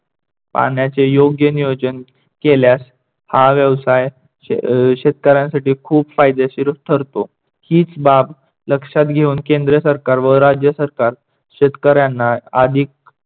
पाण्याचे योग्य नियोजन केल्यास हा व्यवसाय शेतकऱ्यांसाठी खूप फायदेशीर ठरतो, हीच बाब लक्षात घेऊन केंद्र सरकार व राज्य सरकार शेतकऱ्यांना अधिक